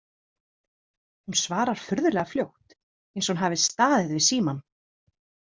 Hún svarar furðulega fljótt, eins og hún hafi staðið við símann.